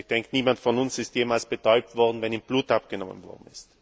Ich denke, niemand von uns ist jemals betäubt worden, wenn ihm Blut abgenommen wurde.